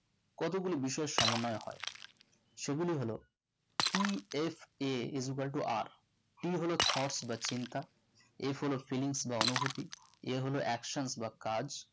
কতগুলি বিষয়ে সমন্বয় হয় সেগুলি হলো TSA iscuela to RT হলো thought বা চিন্তা F হলো fillings বা অনুভূতি A হলো action বা কাজ